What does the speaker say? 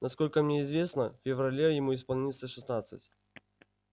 насколько мне известно в феврале ему исполнится шестнадцать